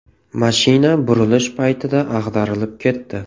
Mashina burilish paytida ag‘darilib ketdi.